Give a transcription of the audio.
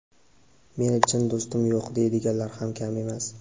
"Meni chin do‘stim yo‘q" deydiganlar ham kam emas.